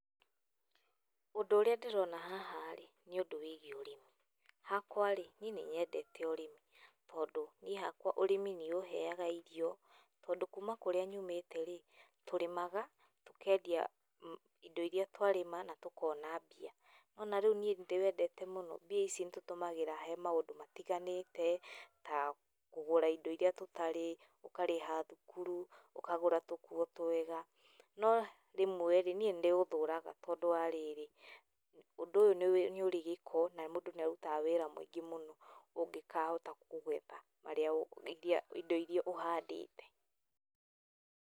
Ũndũ ũrĩa ndĩrona haha ĩ, nĩ ũndũ wa ũrĩmi, hakwa rĩ niĩ nĩnyendete ũrĩmi tondũ niĩ hakwa ũrĩmi nĩũheyaga irio, tondũ kũma kũrĩa nyũmĩte rĩ, tũrĩmaga tũkendia indo irĩa twarĩma na tũkona mbia , nĩ wona rĩu niĩ ndĩwendete mũno, mbia ici nĩtũcitũmagĩra harĩ maũndũ matiganĩte ta kũgũra indo irĩa tũtarĩ, tũkarĩha thukuru, tũkagũra tũkuo twega, no rĩmwe ĩ niĩ nĩndĩũthũraga tondũ wa rĩrĩ, ũndũ ũyũ nĩ ũrĩ gĩko na mũndũ nĩarutaga wĩra mũingĩ mũno ũngĩkahota kũgetha harĩa, indo irĩa ũhandĩte.